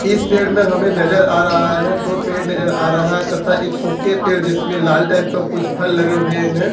इस पेड़ में हमें नजर आ रहा है दो पेड़ नजर आ रहा है तथा एक सूखे पेड़ जिसमें लाल टाइप का कुछ फल लगे हुए हैं।